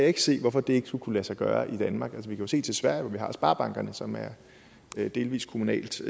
ikke se hvorfor det ikke skulle kunne lade sig gøre i danmark vi kan jo se til sverige hvor vi har sparbankerne som er delvis kommunalt